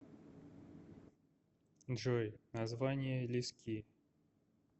джой название лиски